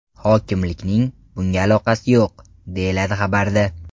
Hokimlikning bunga aloqasi yo‘q”, deyiladi xabarda.